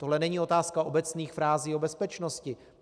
Tohle není otázka obecných frází o bezpečnosti.